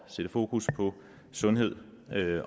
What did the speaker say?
sætte fokus på sundhed